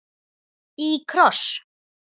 Í kross.